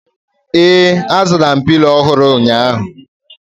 ee, azụrụ m Pilo ọhụrụ ụnyahụ